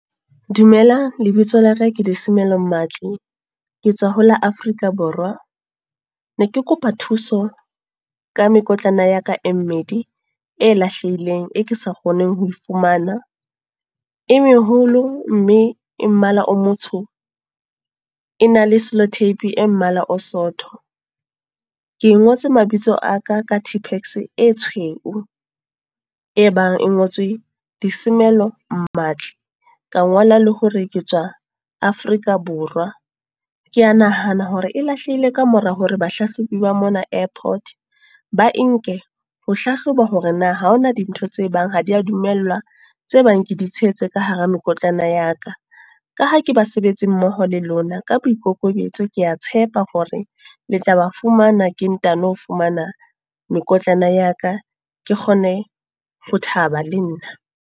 Dumelang. Lebitso laka ke Disimelo Mmatli. Ke tswa ho la Afrika Borwa. Ne ke kopa thuso, ka mekotlana ya ka e mmedi, e lahlehileng, e ke sa kgoneng ho e fumana. E meholo, mme e mmala o motsho. E na le solo-tape, e mmala o sootho. Ke e ngotse mabitso a ka ka t-pex e tshweu. E bang e ngotswe Disimelo Mmatli. Ka ngola le hore ke tswa Afrika Borwa. Ke a nahana hore e lahlehile ka mora hore bahlahlobi ba mona airport, ba enke ho hlahloba hore na ha hona dintho tse bang ha dia dumellwa, tse bang ke di tshehetse ka hara mekotlana ya ka. Ka ha ke basebetsi mmoho le lona ka boikokobetso, ke a tshepa hore le tla ba fumana ke ntano fumana mekotlana ya ka. Ke kgone ho thaba le nna.